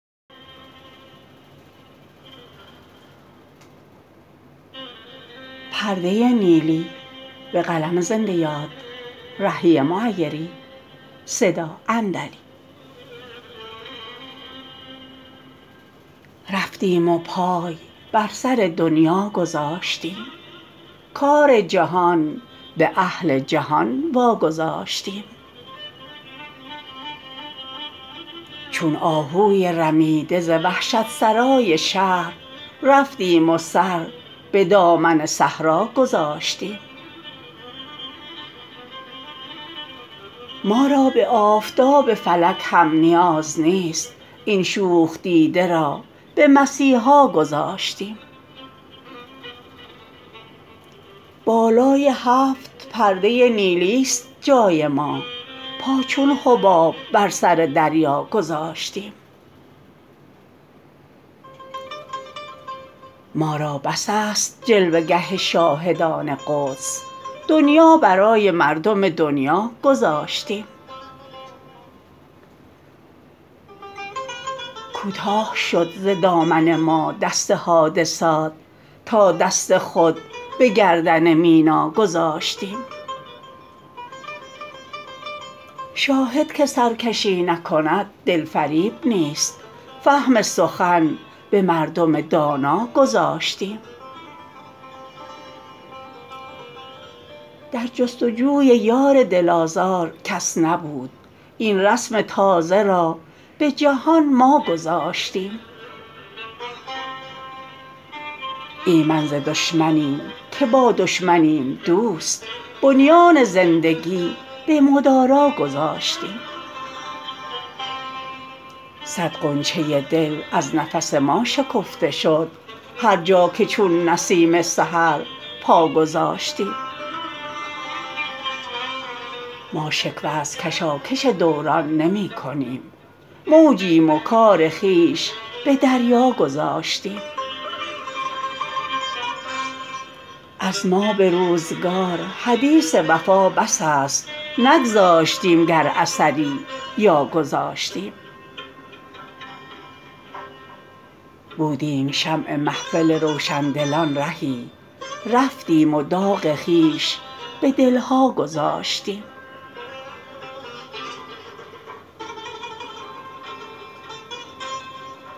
رفتیم و پای بر سر دنیا گذاشتیم کار جهان به اهل جهان واگذاشتیم چون آهوی رمیده ز وحشت سرای شهر رفتیم و سر به دامن صحرا گذاشتیم ما را به آفتاب فلک هم نیاز نیست این شوخ دیده را به مسیحا گذاشتیم بالای هفت پرده نیلی است جای ما پا چون حباب بر سر دریا گذاشتیم ما را بس است جلوه گه شاهدان قدس دنیا برای مردم دنیا گذاشتیم کوتاه شد ز دامن ما دست حادثات تا دست خود به گردن مینا گذاشتیم شاهد که سرکشی نکند دل فریب نیست فهم سخن به مردم دانا گذاشتیم در جستجوی یار دل آزار کس نبود این رسم تازه را به جهان ما گذاشتیم ایمن ز دشمنیم که با دشمنیم دوست بنیان زندگی به مدارا گذاشتیم صد غنچه دل از نفس ما شکفته شد هرجا که چون نسیم سحر پا گذاشتیم ما شکوه از کشاکش دوران نمی کنیم موجیم و کار خویش به دریا گذاشتیم از ما به روزگار حدیث وفا بس است نگذاشتیم گر اثری یا گذاشتیم بودیم شمع محفل روشندلان رهی رفتیم و داغ خویش به دل ها گذاشتیم